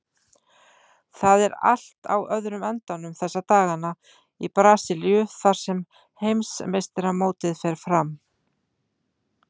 Það er allt á öðrum endanum þessa dagana í Brasilíu þar sem heimsmeistaramótið fer fram.